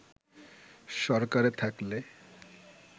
সরকারে থাকলে